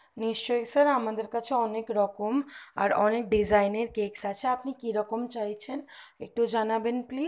নিশ্চই sir sir আমাদের কাছে অনেক রকম আর অনেক desgin ডিজাইনের এর কেক আছে আপনি কিরকম চাইছেন একটু জানাবেন please